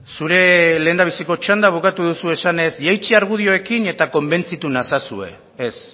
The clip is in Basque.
zure lehendabiziko txanda bukatu duzue esanez jaitsi argudioekin eta konbentzitu nazazue ez